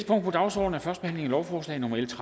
lovforslaget henvises